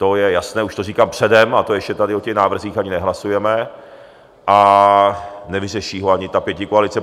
To je jasné, už to říkám předem a to ještě tady o těch návrzích ani nehlasujeme a nevyřeší ho ani ta pětikoalice.